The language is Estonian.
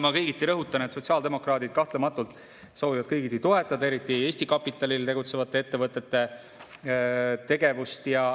Ma rõhutan, et sotsiaaldemokraadid kahtlematult soovivad kõigiti toetada eriti Eesti kapitalil tegutsevate ettevõtete tegevust.